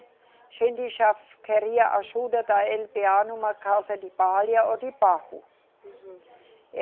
A gente já queria ajuda da eLeBêA numa casa de palha ou de barro.